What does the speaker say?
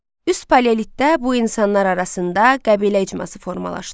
Üst paleolitdə bu insanlar arasında qəbilə icması formalaşdı.